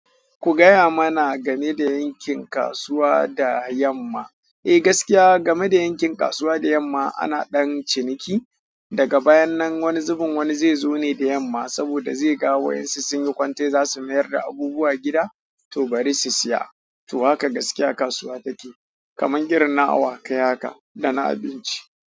Ku gaya mana game da yankin kasuwa da yamma. Eh gaskiya game da yankin kasuwa da yamma ana ɗan ciniki. Daga bayan nan wani zubun wani zai zo ne da yamma saboda zai ga wasu sun yi kwantai za su mayar da abubuwa gida to bari su saya. To haka gaskiya kasuwa take. Kaman irin na awakai haka da na abinci.